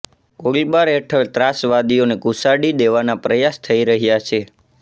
ગોળીબાર હેઠળ ત્રાસવાદીઓને ઘુસાડી દેવાના પ્રયાસ થઇ રહ્યા છે